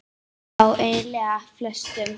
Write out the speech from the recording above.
Já eiginlega flestum.